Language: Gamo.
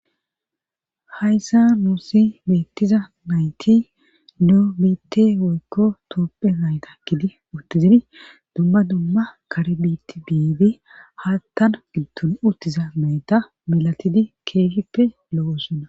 hayssa nuusi beettiza nayti neo biitte woykko toopphe nayta gidi utti ziri dumma dumma kare biitti bibe haattan giddon uttiza mayta milatidi keefippe lo7osonna